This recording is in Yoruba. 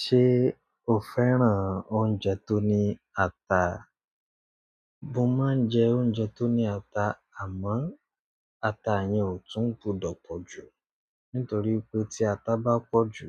Ṣé o fẹ́ràn oúnjẹ tó ní ata? Mo máa ń jẹ oúnjẹ tó ní ata, àmọ́ ata yẹn ò tún gbọdọ̀ pọ̀ jù. Nítorí pé tí ata bá pọ̀ jù,